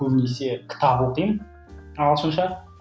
көбінесе кітап оқимын ағылшынша